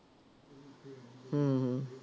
ਹਮ